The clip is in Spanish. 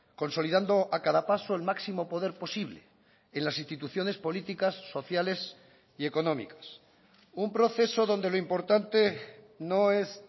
consolidando a cada paso el máximo poder posible en las instituciones políticas sociales y económicas un proceso donde lo importante no es